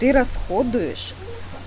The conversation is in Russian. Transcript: ты расходуешь